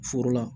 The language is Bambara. Foro la